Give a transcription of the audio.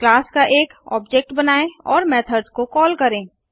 class का एक object बनाएँ और मेथड्स को कॉल करें